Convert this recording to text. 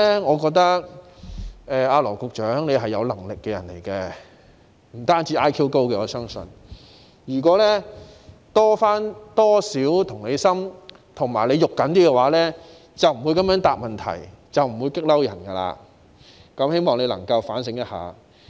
我認為羅局長是有能力的人，我相信他不止是 IQ 高，如果他能有多點同理心和着緊一點，便不會這樣回答問題，不會令人生氣，希望他能夠反省一下。